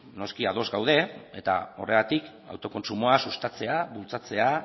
noski ados gaude eta horregatik autokontsumoa sustatzea bultzatzea